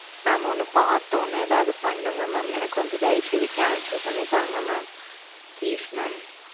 மாம் பாத்து ஏதாது பண்ணனுங்க மாம் எனக்கு வந்து தைவசெஞ்சி Cancel பண்ணி தாங்க மாம் Please